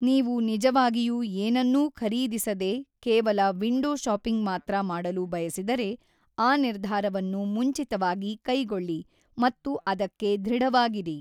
ನೀವು ನಿಜವಾಗಿಯೂ ಏನನ್ನೂ ಖರೀದಿಸದೇ ಕೇವಲ ವಿಂಡೋ ಶಾಪಿಂಗ್ ಮಾತ್ರ ಮಾಡಲು ಬಯಸಿದರೆ ಆ ನಿರ್ಧಾರವನ್ನು ಮುಂಚಿತವಾಗಿ ಕೈಗೊಳ್ಳಿ ಮತ್ತು ಅದಕ್ಕೆ ಧೃಡವಾಗಿರಿ.